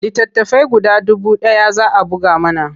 Littattafai guda dubu ɗaya za a buga mana.